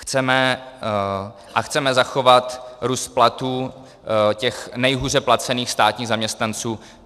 Chceme zachovat růst platů těch nejhůře placených státních zaměstnanců.